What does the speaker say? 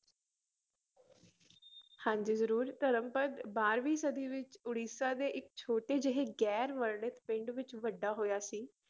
ਹਾਂਜੀ ਜ਼ਰੂਰ ਧਰਮਪਦ ਬਾਰਵੀਂ ਸਦੀ ਵਿੱਚ ਉੜੀਸਾ ਦੇ ਇੱਕ ਛੋਟੇ ਜਿਹੇ ਗ਼ੈਰ ਵਰਣਿਤ ਪਿੰਡ ਵਿੱਚ ਵੱਡਾ ਹੋਇਆ ਸੀ